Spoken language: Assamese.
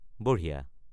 বঢ়িয়া!